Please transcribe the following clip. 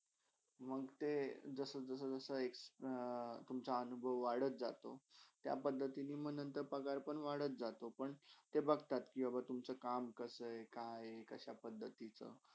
मग ते जसा जसा एक्स अं तुमचा अनुभव वाढत जातो त्या पद्धतीने म नंतर पगार पण वाढत जातो पण ते बघतात कि बाबा तुमचा काम कसे आहे कआय आहे कशा पद्धतिचा.